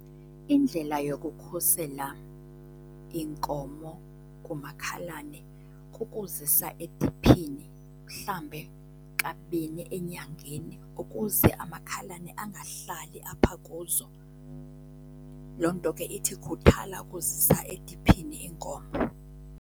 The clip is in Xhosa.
Indlela yokukhusela iinkomo kumakhalane kukuzisa ediphini mhlambe kabini enyangeni ukuze amakhalane angahlali apha kuzo. Loo nto ke ithi khuthala ukuzisa ediphini iinkomo.